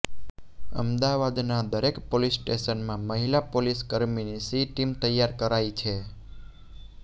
અમદાવાદના દરેક પોલીસ સ્ટેશનમાં મહિલા પોલીસકર્મીની શી ટીમ તૈયાર કરાઇ છે